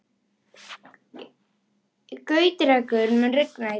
Gautrekur, mun rigna í dag?